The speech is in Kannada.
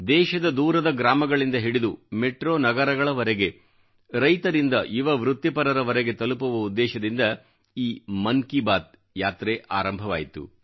ದೇಶದ ದೂರದ ಗ್ರಾಮಗಳಿಂದ ಹಿಡಿದು ಮೆಟ್ರೋ ನಗರಗಳವರೆಗೆ ರೈತರಿಂದ ಯುವ ವೃತ್ತಿಪರರವರೆಗೆ ತಲುಪುವ ಉದ್ದೇಶದಿಂದ ಈ ಮನ್ ಕಿ ಬಾತ್ ಯಾತ್ರೆ ಆರಂಭವಾಯಿತು